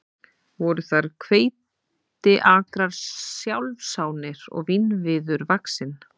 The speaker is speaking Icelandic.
Voru þar hveitiakrar sjálfsánir og vínviður vaxinn.